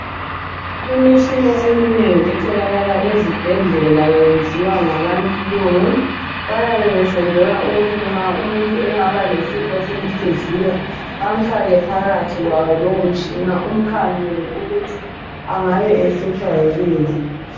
Imitshina eminengi etholakala ezibhedlela yenziwa ngabalungu bayabe besenzela ukuthi nxa umuntu engaba lesimo bamfake phakathi kwawo lowomtshina umkhangelwe ukuthi angabe ehlutshwa yikuyini.